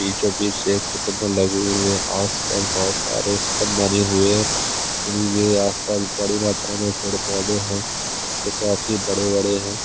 बीचो बिच से एक लगे हुए है आसपास बहत सारे हुई है और ये आसपास बड़ी मात्रा की पैर पौधे है जो काफी बड़े बड़े है।